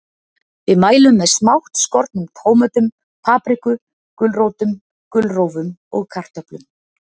Við mælum með smátt skornum tómötum, paprikum, gulrótum, gulrófum og kartöflum.